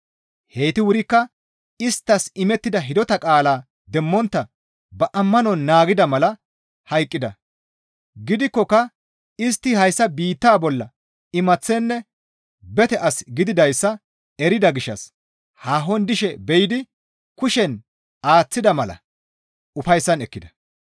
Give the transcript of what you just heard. Heyti wurikka isttas imettida hidota qaalaa demmontta ba ammanon naagida mala hayqqida; gidikkoka istti hayssa biittaa bolla imaththenne bete as gididayssa erida gishshas haahon dishe be7idi kushen aaththida mala ufayssan ekkida.